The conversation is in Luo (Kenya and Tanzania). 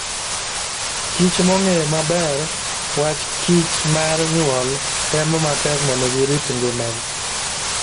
kichmong'eyo maber wach kichmar nyuol, temo matek mondo girit ngimagi.